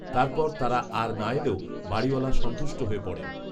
তার পর তারা আর না এলেও বাড়িওলা সন্তুষ্ট হয়ে পড়েন